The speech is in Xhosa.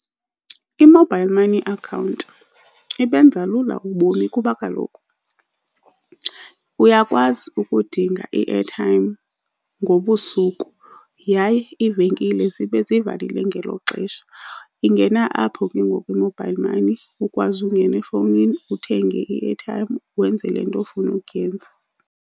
I-mobile money account ibenza lula ubomi kuba kaloku uyakwazi ukudinga i-airtime ngobusuku yaye iivenkile zibe zivalile ngelo xesha. Ingena apho ke ngoku i-mobile money, ukwazi ungena efowunini uthenge i-airtime, wenze le nto ofuna ukuyenza.